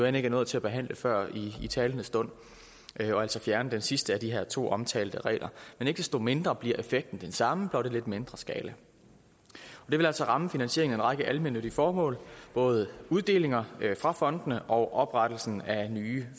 ikke er nået til at behandle før i talende stund og altså fjerne den sidste af de her to omtalte regler men ikke desto mindre bliver effekten den samme blot i lidt mindre skala det vil altså ramme finansieringen af en række almennyttige formål både uddelinger fra fondene og oprettelsen af nye